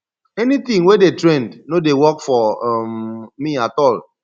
anything wey dey trend no dey work for um me at all